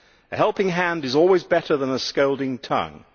A helping hand is always better than a scolding tongue.